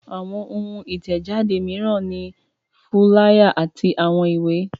Àwọn ohun ìtẹ̀jáde mìíràn ni fúláyà àti àwọn ìwé.